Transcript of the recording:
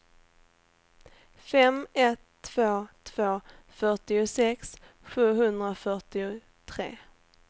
fem ett två två fyrtiosex sjuhundrafyrtiotre